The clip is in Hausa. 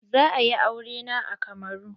Za a yi aure na a Kamaru.